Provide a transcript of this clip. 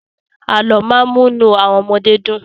Àlọ́ máa ń múnú àwọn ọmọdé dùn.